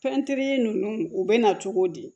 Fɛn teri ninnu u bɛ na cogo di